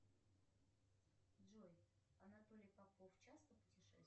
джой анатолий попов часто путешествует